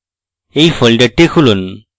এই folder খুলুন